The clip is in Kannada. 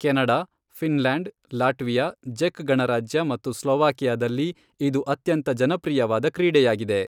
ಕೆನಡಾ, ಫಿನ್ಲ್ಯಾಂಡ್, ಲಾಟ್ವಿಯಾ, ಜೆಕ್ ಗಣರಾಜ್ಯ ಮತ್ತು ಸ್ಲೊವಾಕಿಯಾದಲ್ಲಿ ಇದು ಅತ್ಯಂತ ಜನಪ್ರಿಯವಾದ ಕ್ರೀಡೆಯಾಗಿದೆ.